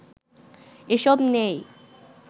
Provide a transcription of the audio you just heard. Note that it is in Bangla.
এসব নেই